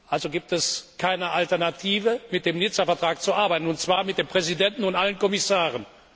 Also gibt es keine Alternative dazu, mit dem Nizza Vertrag zu arbeiten, und zwar mit dem Präsidenten und allen Kommissaren.